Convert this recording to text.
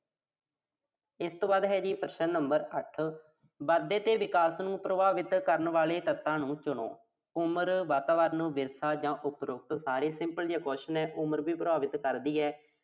ਇਸ ਤੋਂ ਬਾਅਦ ਹੈ ਜੀ ਪ੍ਰਸ਼ਨ number ਅੱਠ। ਵਾਧੇ ਤੇ ਵਿਕਾਸ ਨੂੰ ਪ੍ਰਭਾਵਿਤ ਕਰਨ ਵਾਲੇ ਤੱਤਾਂ ਨੂੰ ਸੁਣੋ। ਉਮਰ, ਵਾਤਾਵਰਣ, ਵਿਰਸਾ ਜਾਂ ਉਪਰੋਕਤ ਸਾਰੇ simple ਜੇ question ਆ, ਉਮਰ ਵੀ ਪ੍ਰਭਾਵਿਤ ਕਰਦੀ ਆ।